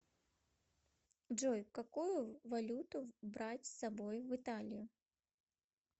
джой какую валюту брать с собой в италию